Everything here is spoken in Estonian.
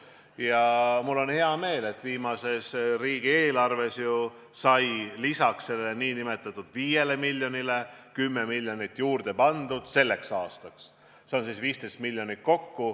Ja mul on hea meel, et viimases riigieelarves sai teedeehitusse lisaks 5 miljonile veel 10 miljonit selleks aastaks juurde pandud, kokku 15 miljonit.